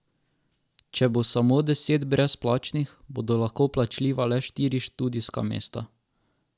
Če bo samo deset brezplačnih, bodo lahko plačljiva le štiri študijska mesta.